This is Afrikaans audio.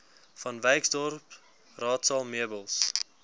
vanwyksdorp raadsaal meubels